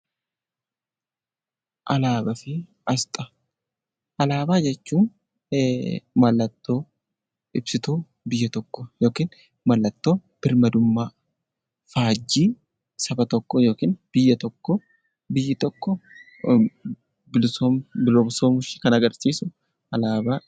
Alaabaa jechuun mallattoo ibsituu biyya tokkoo yookiinmallattoo birmadummaa faajjii saba tokkoo yookaan biyya tokkoo biyyi tokko bilisoomuu ishee kan agarsiisu alaabaa jennaan